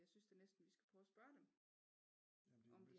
Jeg synes da næsten vi skal prøve at spørge dem om de